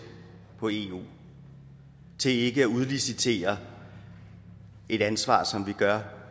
på eu til ikke at udlicitere et ansvar som vi gør